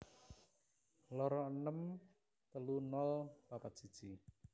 loro enem telu nol papat siji